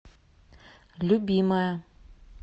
любимая